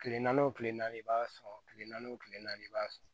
Kile naani o kile naani i b'a sɔn kile naani o kile naani i b'a sɔrɔ